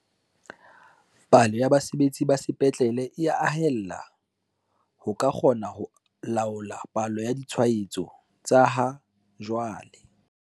"Palo ya basebetsi ba sepetlele e ya haella ho ka kgona ho laola palo ya ditshwaetso tsa ha jwale."